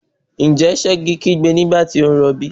Ǹjẹ́ Ṣẹ̀gi kígbe nígbà tó rọbí?